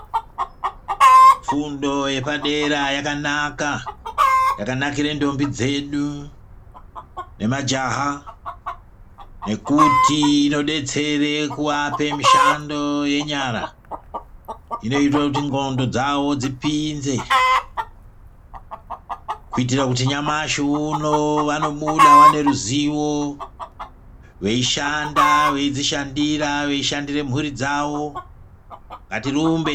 Fundo yepadera yakanaka yakanakire ndombi dzedu nemajaha. Nekuti inobetsere kuvape mishando yenyara inoita kuti ndxondo dzavo dzipinze. Kuitire kuti nyamashi uno vanobuda vane ruzivo veishanda veidzishandira veishandira mhuri dzavo ngatirumbe.